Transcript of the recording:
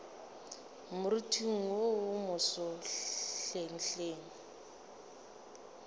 moriting wo wo moso hlenghleng